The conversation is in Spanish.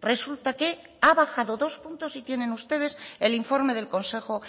resulta que ha bajado dos puntos y tienen ustedes el informe del consejo